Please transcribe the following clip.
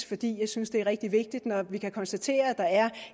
fordi jeg synes det er rigtig vigtigt når vi kan konstatere at der er